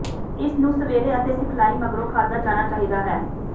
ਇਸ ਨੂੰ ਸਵੇਰੇ ਅਤੇ ਸਿਖਲਾਈ ਮਗਰੋਂ ਖਾਧਾ ਜਾਣਾ ਚਾਹੀਦਾ ਹੈ